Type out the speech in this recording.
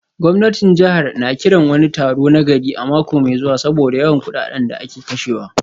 Gwamnatin jihar na kiran wani taro na gari a mako mai zuwa saboda yawan kudaden da ake kashewa